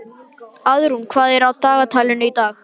Auðrún, hvað er í dagatalinu í dag?